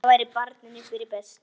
Það væri barninu fyrir bestu.